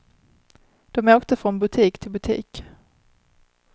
De åkte från butik till butik.